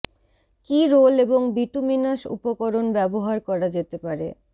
কি রোল এবং বিটুমিনাস উপকরণ ব্যবহার করা যেতে পারে